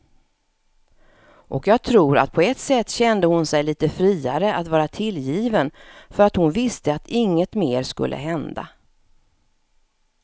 Och jag tror att på ett sätt kände hon sig lite friare att vara tillgiven för att hon visste att inget mer skulle hända.